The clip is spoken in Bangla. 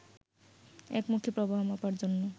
একমুখী প্রবাহ মাপার জন্য